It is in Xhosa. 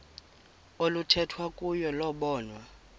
oluthethwa kuyo lobonwa